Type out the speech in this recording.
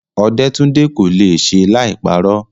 Ọdẹ́túndé kò le è ṣe láì parọ́.